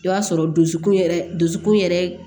I b'a sɔrɔ dusukun yɛrɛ dusukun yɛrɛ